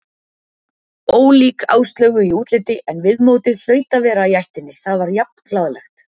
Ólík Áslaugu í útliti en viðmótið hlaut að vera í ættinni, það var jafn glaðlegt.